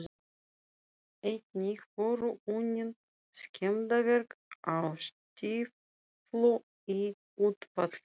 Einnig voru unnin skemmdarverk á stíflu í útfalli